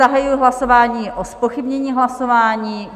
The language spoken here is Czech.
Zahajuji hlasování o zpochybnění hlasování.